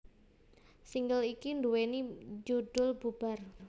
Single iki nduwèni judhul Bubar